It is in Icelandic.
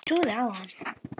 Ég trúði á hann.